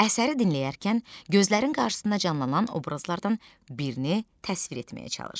Əsəri dinləyərkən gözlərinin qarşısında canlanan obrazlardan birini təsvir etməyə çalış.